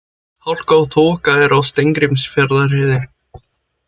Hálka og þoka er á Steingrímsfjarðarheiði